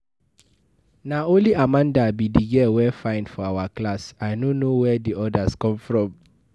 Na only Amanda be the girl wey fine for our class, I no know where the others come from